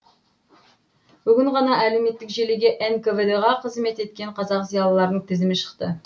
бүгін ғана әлеуметтік желіге нквд ға қызмет еткен қазақ зиялыларының тізімі шықты